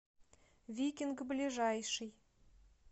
викинг ближайший